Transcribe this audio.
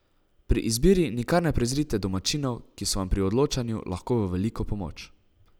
Pri izbiri nikar ne prezrite domačinov, ki so vam pri odločanju lahko v veliko pomoč.